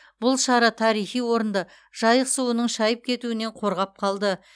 бұл шара тарихи орынды жайық суының шайып кетуінен қорғап қалды